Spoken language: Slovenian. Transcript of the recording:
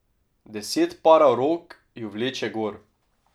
Deset parov rok ju vleče gor.